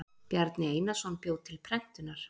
bjarni einarsson bjó til prentunar